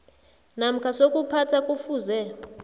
namkha sokuphatha kufuze